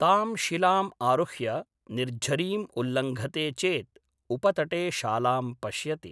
ताम् शिलाम् आरुह्य निर्झरीम् उल्लङ्घते चेत् उपतटे शालां पश्यति।